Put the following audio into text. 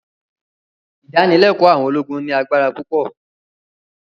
Ìdánilẹ́kọ̀ọ́ àwọn ológun ní agbára púpọ̀